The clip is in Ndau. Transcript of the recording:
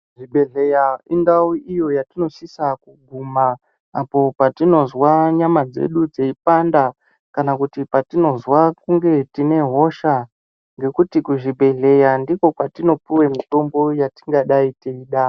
Zvibhedhlera indau iyo yatinosisa kuguma apo patinozwa nyama dzedu dzeipanda kana kuti patinozwa kunge tine hosha ngekuti kuzvibhedhlera ndiko kwetinopiwe mitombo yetingadai teida.